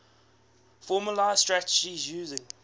formalised strategies using